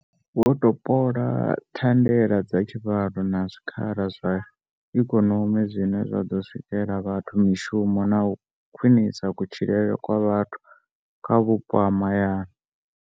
Vho topola thandela dza tshivhalo na zwikhala zwa ikonomi zwine zwa ḓo sikela vhathu mishumo na u khwiṋisa kutshilele kwa vha thu kha vhupo ha mahayani.